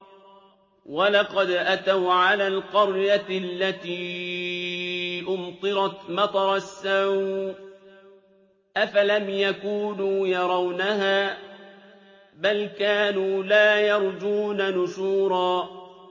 وَلَقَدْ أَتَوْا عَلَى الْقَرْيَةِ الَّتِي أُمْطِرَتْ مَطَرَ السَّوْءِ ۚ أَفَلَمْ يَكُونُوا يَرَوْنَهَا ۚ بَلْ كَانُوا لَا يَرْجُونَ نُشُورًا